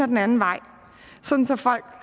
den anden vej sådan at folk